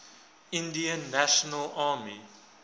indian national army